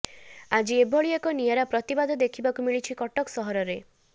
ଆଜି ଏଭଳି ଏକ ନିଆରା ପ୍ରତିବାଦ ଦେଖିବାକୁ ମିଳିଛି କଟକ ସହରରେ